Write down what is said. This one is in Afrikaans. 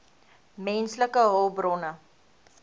menslike hulpbronne